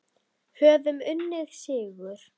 Höfum unnið sigur.